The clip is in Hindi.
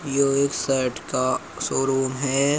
यो एक शर्ट का शोरूम है।